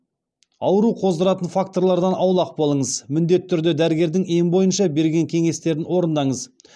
ауру қоздыратын факторлардан аулақ болыңыз міндетті түрде дәрігердің ем бойынша берген кеңестерін орындаңыз